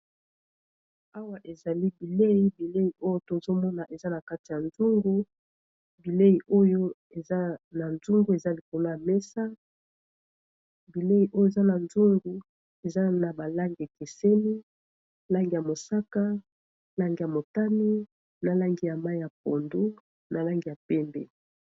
Awa ezali bilei bilei oyo tozomona eza na kati ya nzoungu bilei oyo eza na nzoungu eza likono ya mesa bilei oyo eza na nzoungu eza na balangi keseni langi ya mosaka lange ya motani na langi ya mai ya pondo na langi ya pembe